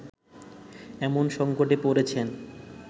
এমন সংকটে পড়েছেন